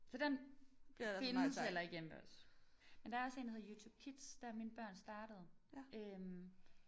Så den findes heller ikke hjemme ved os. Men der er også en der hedder YouTube Kids der er mine børn startet øh